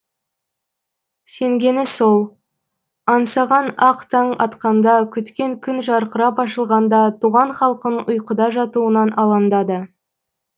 сенгені сол аңсаған ақ таң атқанда күткен күн жарқырап ашылғанда туған халқының ұйқыда жатуынан алаңдады